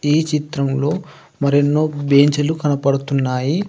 ఈ చిత్రంలో మరెన్నో బేంచిలు కనపడుతున్నాయి.